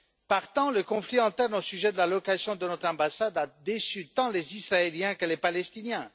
Partant, le conflit interne au sujet de la localisation de notre ambassade a déçu tant les Israéliens que les Palestiniens.